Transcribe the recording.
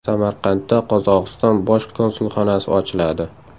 Samarqandda Qozog‘iston bosh konsulxonasi ochiladi.